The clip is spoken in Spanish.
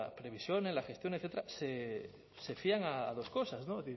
previsión en la gestión etcétera se fían a dos cosas no